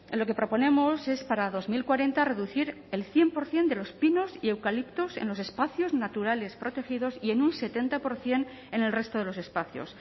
lo que proponemos es para dos mil cuarenta reducir el cien por ciento de los pinos y eucaliptos en los espacios naturales protegidos y en un setenta por ciento en el resto de los espacios